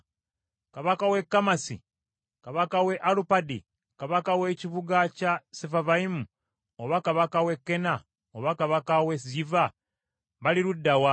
Kabaka w’e Kamasi, kabaka w’e Alupadi, kabaka w’ekibuga kya Sefavayimu, oba kabaka w’e Kena oba kabaka w’e Yiva, bali ludda wa?”